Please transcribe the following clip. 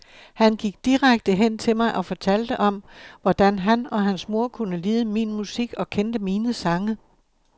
Han gik direkte hen til mig og fortalte om, hvordan han og hans mor kunne lide min musik og kendte mine sange.